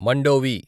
Mandovi